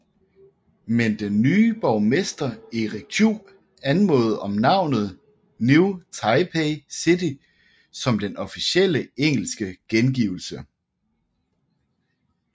Men den nye borgermester Eric Chu anmodede om navnet New Taipei City som den officielle engelske gengivelse